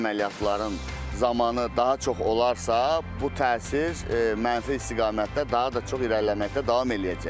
Əməliyyatların zamanı daha çox olarsa, bu təsir mənfi istiqamətdə daha da çox irəliləməkdə davam eləyəcək.